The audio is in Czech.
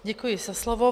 Děkuji za slovo.